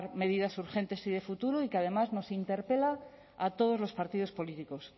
medidas urgentes y de futuro y que además nos interpela a todos los partidos políticos